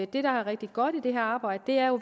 det der er rigtig godt i det her arbejde er jo